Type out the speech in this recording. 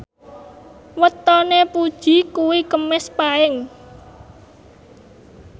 wetone Puji kuwi Kemis Paing